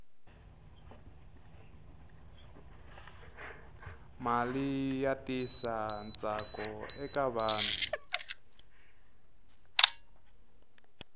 mali yi tisa ntsakoeka vanhu